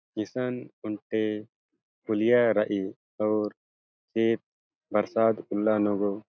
ईसन ओन्टे पुलिया रइई अऊर चेप बरसात उल्ला नू गो ---